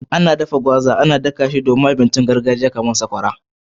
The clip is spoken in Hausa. Ana dafa gwaza, ana dafa shi ko kuma a niƙa shi don samar da tushen abinci na gargajiya kamar sakwara